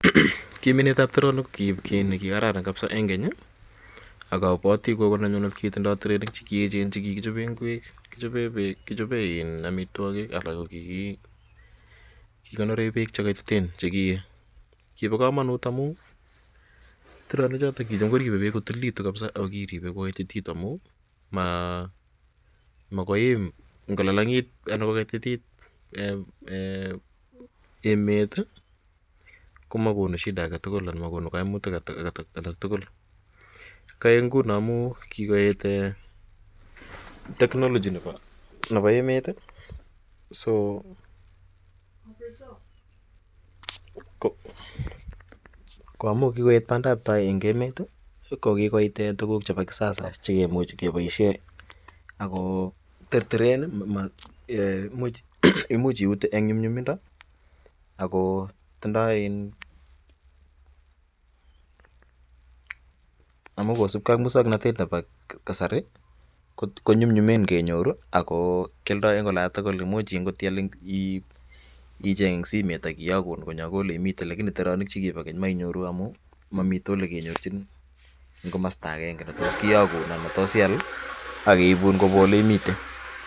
Ki minet ap teronik ko ki kakraran kapsa eng' keny ak apwati gogo nenyunet kotindai tereniik che echen che kikichope ngwek, kechope peek, kechope amitwogiik alak ko kikikonore peek che kaititen che kiee. Ki pa kamanut amu teronichotok ko kicham koripei peek ko tililitu ako kiripe kokaitititu amu makoi iim ngo lalang'it anan ko kaitit emet i, ko makonu shida age tugul anan ma konu kaimutiik alak tugul. Kaek nguno amu kikoet technology nepo emet. Ko amu kikoet pandaptai nepo emet i, ko ki koit tuguk chepo kisasa che kimuchi kepaishe ako terteren , imuch iute eng' nyumnyumindo ako tindai amu kosupge ak muswoknatet ap kasari konyumnyumen kenyoru ako kialdai eng' ola tugul. Imuch angot icheng' eng' simet ak kiyakun konyo ako ole imitei, llakini teraniik che kipa keny ko mainyoru amu mamitei ole kenyorchin eng' komasta agenge ne tos kiyakun anan ne tos ial ak keipun kopwa ole imite.